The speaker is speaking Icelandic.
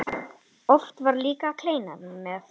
Oft var líka kleina með.